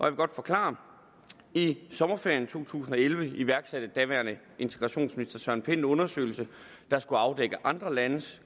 vil godt forklare det i sommerferien to tusind og elleve iværksatte daværende integrationsminister herre søren pind en undersøgelse der skulle afdække andre landes